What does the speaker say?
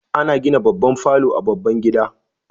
Ana gina babban falo a baban gida